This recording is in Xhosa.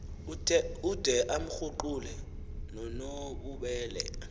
ude amkruqule nonobubele